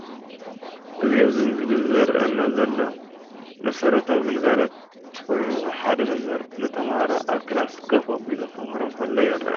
እዚ ኣብዚ ምስሊ ዝርአ ዘሎ መሰረታዊ ግልጋሎት ኮይኑ ሓደ መምህር ንተማሃሮ ኣብ ክላስ ኮፍ ኣቢሉ ከምህሮም ከሎ ይረአ።